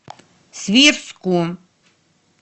свирску